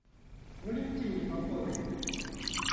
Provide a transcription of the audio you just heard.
валентине поповой